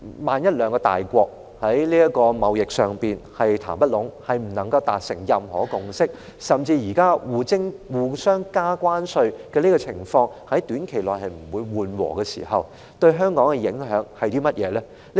萬一兩個大國在這場貿易談判中談不攏，不能達成任何共識，甚至現時雙方互加關稅的情況在短期內不會緩和，這些情況對香港有何影響呢？